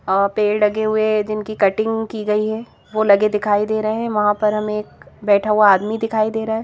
अ पेड़ लगे हुए जिनकी कटिंग की गई है वह लगे दिखाई दे रहे हैं वहां पर हमें एक बैठा हुआ आदमी दिखाई दे रहा है.